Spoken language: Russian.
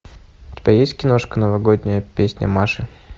у тебя есть киношка новогодняя песня маши